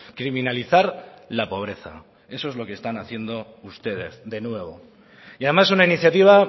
criminalizar la pobreza eso es lo que están haciendo ustedes de nuevo y además una iniciativa